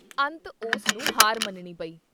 ਅੰਤ ਉਸ ਨੂੰ ਹਾਰ ਮੰਨਣੀ ਪਈ।